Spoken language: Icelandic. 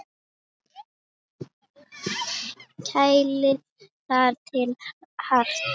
Kælið þar til hart.